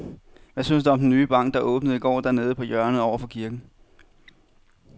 Hvad synes du om den nye bank, der åbnede i går dernede på hjørnet over for kirken?